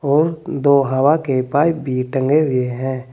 और दो हवा के पाइप भी टंगे हुए हैं।